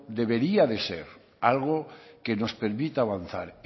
debería de ser algo que nos permita avanzar